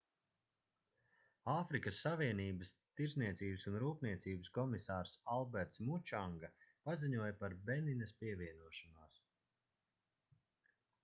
āfrikas savienības tirdzniecības un rūpniecības komisārs alberts mučanga paziņoja par beninas pievienošanos